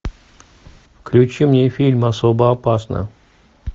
включи мне фильм особо опасна